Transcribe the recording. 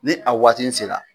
Ni a waati in sera.